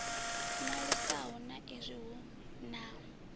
ṅwalisaho sa izwi hu na